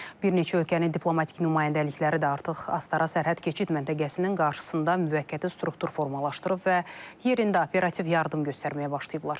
Bir neçə ölkənin diplomatik nümayəndəlikləri də artıq Astara sərhəd keçid məntəqəsinin qarşısında müvəqqəti struktur formalaşdırıb və yerində operativ yardım göstərməyə başlayıblar.